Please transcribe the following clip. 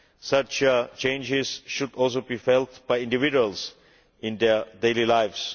Such changes should also be felt by individuals in their daily lives.